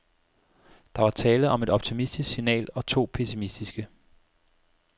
Der var tale om et optimistisk signal og to pessimistiske.